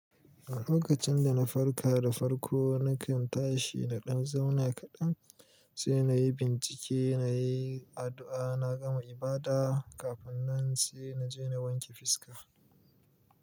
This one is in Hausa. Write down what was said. A lokacin da na farka da farko, nakan tashi na ɗan zauna kaɗan, sai na yi bincike, na yi addu'a, na gama ibada, kafin nan sai na je na wanke fiska.